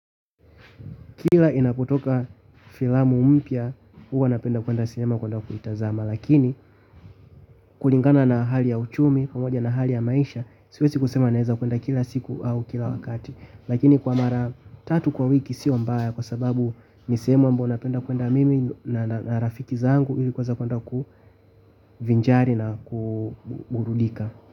Kila inapotoka filamu mpya huwa napenda kuenda sinema kuenda kuitazama lakini kulingana na hali ya uchumi pamoja na hali ya maisha siwezi kusema naeza kuenda kila siku au kila wakati lakini kwa mara tatu kwa wiki sio mbaya kwa sababu ni sehemu ambao napenda kuenda mimi na rafiki zangu ili kuweza kuenda kuvinjari na kuburudika.